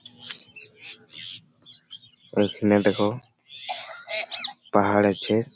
এইখানে দেখো পাহাড় আছে --